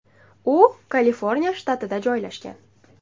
U Kaliforniya shtatida joylashgan.